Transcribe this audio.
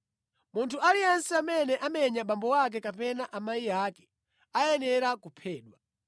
“Munthu aliyense amene amenya abambo ake kapena mayi ake ayenera kuphedwa.